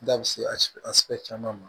Da bɛ se a caman ma